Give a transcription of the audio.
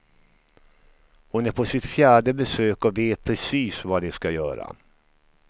Hon är på sitt fjärde besök och vet precis vad de ska göra.